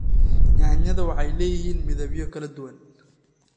Yaanyada waxay leeyihiin midabyo kala duwan.